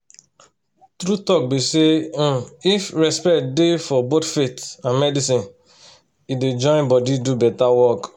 some kin people dey wey depend on faith and medicine to feel say dia body don well